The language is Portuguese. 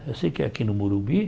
Eu sei que é aqui no Morumbi.